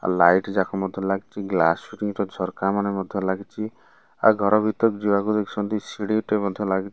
ଆଉ ଲାଇଟ ଯାକ ମଧ୍ୟ ଲାଗିଚି ଗ୍ଲାସ ଫିଟିଙ୍ଗ ର ଝରକା ମାନେ ମଧ୍ୟ ଲାଗିଚି ଆଉ ଘରେ ଭିତରେ ଯିବାକୁ ଦେଖୁଛନ୍ତି ଶିଢି ଟେ ମଧ୍ୟ ଲାଗି --